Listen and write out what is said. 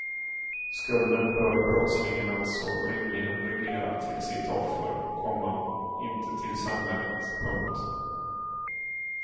Skulden bör brottslingen alltså rimligen reglera till sitt offer, komma inte till samhället. punkt